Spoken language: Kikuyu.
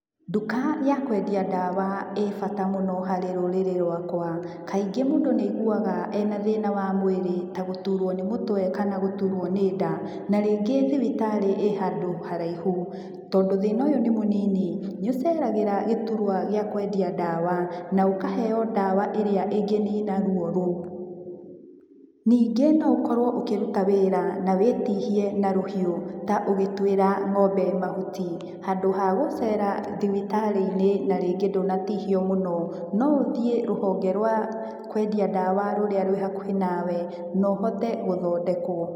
Nduka ya kwendia ndawa ĩ bata mũno harĩ rũrĩrĩ rwakwa, kaingĩ mũndũ nĩaiguaga e na thina wa mũĩrĩ ta gũturwo ni mũtwe kana gũturwo ni nda, na ringĩ thibitarĩ ĩ handũ haraihu, tondũ thĩna ũyũ nĩ mũnini nĩũceragĩra gĩturwa gĩa kwendia ndawa na ũkaheyo ndawa ĩrĩa ĩngĩnina ruo rũu. Ningĩ no ũkorwo ũkĩruta wĩra na wĩtihie na rũhiũ ta ũgituĩra ng'ombe mahuti, handũ hagũcera thibitarĩ-inĩ na rĩngĩ ndũnatihio mũno, no ũthiĩ rũhonge rwa kwendia ndawa rũrĩa rwĩ hakuhĩ nawe na ũhote gũthondekwo.